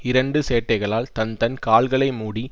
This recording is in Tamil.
இரண்டு சேட்டைகளால் தன் தன் கால்களை மூடி